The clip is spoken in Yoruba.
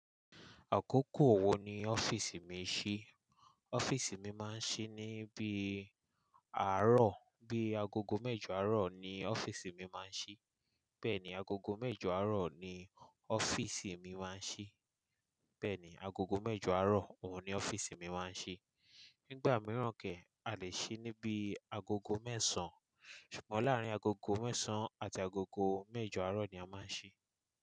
Àkókò wo ni ọ́fíìsì mi ṣí? Ọ́fíìsì mi máa ń ṣí ní bí àárọ̀, bí agogo mẹ́jọ àárọ̀ ni ọ́fíìsì mi máa ń ṣí. Bẹ́ẹ̀ni, agogo mẹ́jọ àárọ̀ ni ọ́fíìsì mi máa ń ṣí. Bẹ́ẹ̀ni, agogo mẹ́jọ àárọ̀ òun ni ọ́fíìsì mi máa ń ṣí. Nígbà mìíràn kẹ̀, a lè ṣí níbi agogo mẹ́sàn án. Ṣùgbọ́n láàárín agogo mẹ́sàn án àti agogo mẹ́jọ àárọ̀ ni a máa ń ṣí.